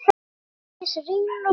Sædís, Reynir og Birkir.